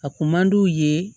A kun man d'u ye